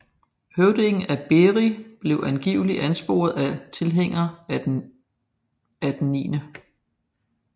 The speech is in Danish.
Høvdingen af Beri blev angiveligt ansporet af tilhængere af den 9